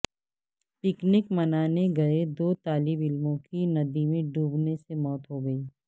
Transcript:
picnic منانے گئے دو طالب علموں کی ندی میں ڈوبنے سے موت ہوگئی